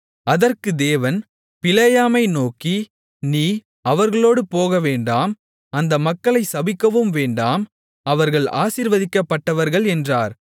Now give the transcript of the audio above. அதற்குத் தேவன் பிலேயாமை நோக்கி நீ அவர்களோடு போகவேண்டாம் அந்த மக்களைச் சபிக்கவும் வேண்டாம் அவர்கள் ஆசீர்வதிக்கப்பட்டவர்கள் என்றார்